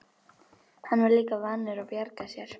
Hann var líka vanur að bjarga sér.